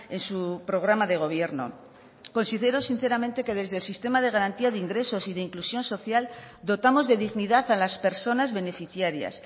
en su programa de gobierno considero sinceramente que desde el sistema de garantía de ingresos y de inclusión social dotamos de dignidad a las personas beneficiarias